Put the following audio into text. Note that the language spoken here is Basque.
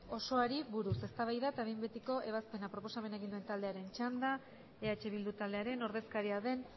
osoari buruz eztabaida eta behin betiko ebazpena proposamena egin duen taldearen txanda eh bildu taldearen ordezkaria den